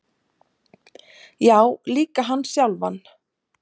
Já, líka hann sjálfan.